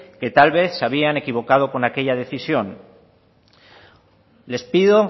que tal vez se habían equivocado con esa decisión les pido